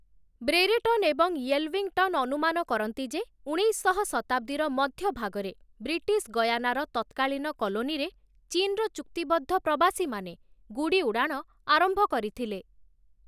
Brereton ଏବଂ Yelvington ଅନୁମାନ କରନ୍ତି ଯେ, ଉଣେଇଶଶହ ଶତାବ୍ଦୀର ମଧ୍ୟଭାଗରେ ବ୍ରିଟିଶ ଗୟାନାର ତତ୍କାଳୀନ କଲୋନୀରେ ଚୀନ୍‌ର ଚୁକ୍ତିବଦ୍ଧ ପ୍ରବାସୀମାନେ ଗୁଡ଼ି ଉଡ଼ାଣ ଆରମ୍ଭ କରିଥିଲେ ।